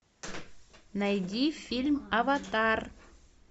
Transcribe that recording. найди фильм аватар